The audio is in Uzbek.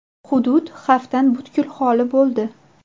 Hudud xavfdan butkul xoli bo‘ldi.